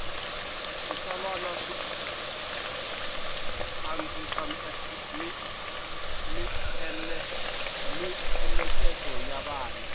switsalwana swi andzisa mieleketo ya vana